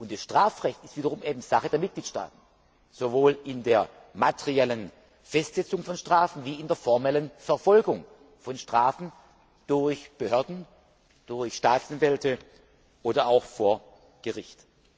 Das Strafrecht ist wiederum Sache der Mitgliedstaaten, sowohl bei der materiellen Festsetzung von Strafen wie bei der formellen Verfolgung von Fällen durch Behörden, durch Staatsanwälte oder auch vor Gericht.